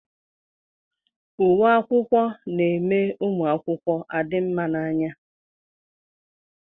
Uwe akwụkwọ na-eme ụmụ akwụkwọ adị mma n'anya.